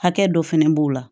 Hakɛ dɔ fɛnɛ b'o la